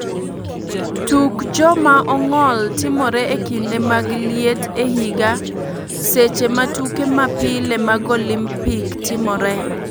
Tuk jo ma ongol timore e kinde mag liet e higa seche ma tuke ma pile mag Olimpik timore.